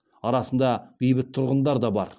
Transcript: арасында бейбіт тұрғындар да бар